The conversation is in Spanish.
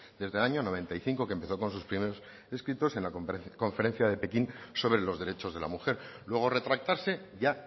desde el año noventa y cinco que empezó con sus primeros escritos en la conferencia de pekín sobre los derechos de la mujer luego retractarse ya